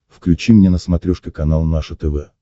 включи мне на смотрешке канал наше тв